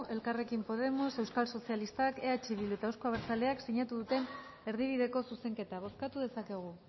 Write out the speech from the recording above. elkarrekin podemos euskal sozialistak eh bildu eta euzko abertzaleak sinatu duten erdibideko zuzenketa bozkatu dezakegu